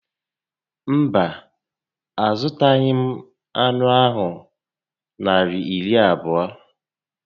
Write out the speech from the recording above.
Mba, a zụtaghị m anụ ahụ Naịra iri abụọ